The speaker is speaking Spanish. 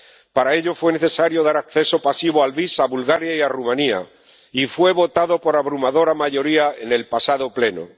Para ello, fue necesario dar acceso pasivo al VIS a Bulgaria y a Rumanía, y fue votado por abrumadora mayoría en el pasado Pleno.